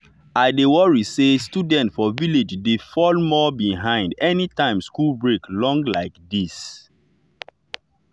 i dey worry say students for village dey fall more behind anytime school break long like this.